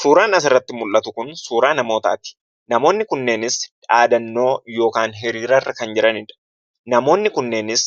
Suuraan asirratti mul'atu kun suuraa namootaati. Namootni kunneenis dhaadannoo yookiin hiriirarra kan jiraniidha. Namoonni kunneenis